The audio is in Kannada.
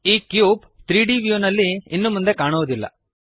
ಈ ಕ್ಯೂಬ್ 3ದ್ ವ್ಯೂ ನಲ್ಲಿ ಇನ್ನು ಮುಂದೆ ಕಾಣುವದಿಲ್ಲ